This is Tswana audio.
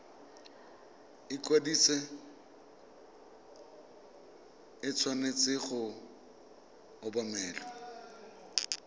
ikwadiso e tshwanetse go obamelwa